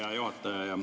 Hea juhataja!